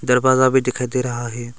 दरवाजा भी दिखाई दे रहा है।